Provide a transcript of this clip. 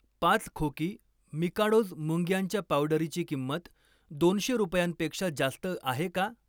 पाच खोकी मिकाडोज मुंग्यांच्या पावडरीची किंमत दोनशे रुपयांपेक्षा जास्त आहे का?